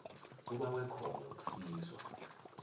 ubawe khona ukusizwa